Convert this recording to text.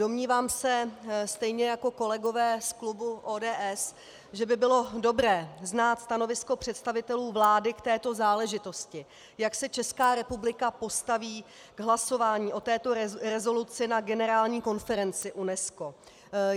Domnívám se stejně jako kolegové z klubu ODS, že by bylo dobré znát stanovisko představitelů vlády k této záležitosti, jak se Česká republika postaví k hlasování o této rezoluci na generální konferenci UNESCO.